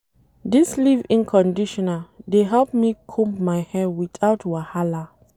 Dis leave-in conditioner dey help me comb my hair witout wahala.